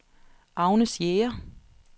Agnes Jæger